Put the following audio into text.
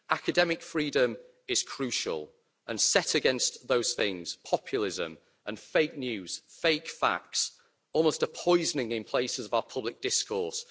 Academic freedom is crucial and set against those things are populism and fake news, fake facts almost a poisoning in places of our public discourse.